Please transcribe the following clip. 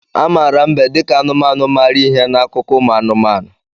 A maara mbe dị ka anụmanụ maara ihe n'akụkọ ụmụ anụmanụ